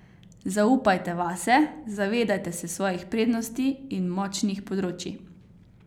Zaupajte vase, zavedajte se svojih prednosti in močnih področij.